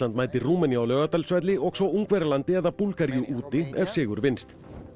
mætir Rúmeníu á Laugardalsvelli og svo Ungverjalandi eða Búlgaríu úti ef sigur vinnst